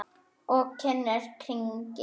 Og hún kyngir.